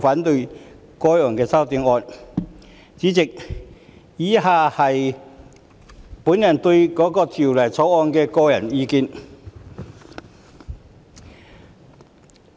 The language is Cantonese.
代理主席，以下是我對《條例草案》的個人意見。